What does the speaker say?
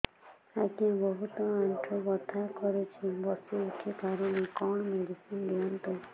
ଆଜ୍ଞା ବହୁତ ଆଣ୍ଠୁ ବଥା କରୁଛି ବସି ଉଠି ପାରୁନି କଣ ମେଡ଼ିସିନ ଦିଅନ୍ତୁ